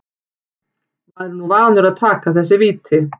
Maður er nú vanur að taka þessi víti.